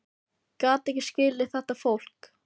Ég gat ekki skilið þetta fólk.